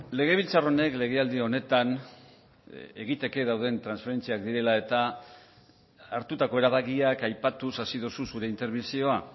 legebiltzar honek legealdi honetan egiteke dauden transferentziak direla eta hartutako erabakiak aipatuz hasi duzu zure interbentzioa